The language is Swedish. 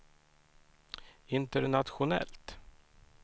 internationellt